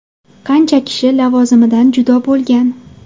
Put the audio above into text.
Qancha kishi lavozimidan judo bo‘lgan.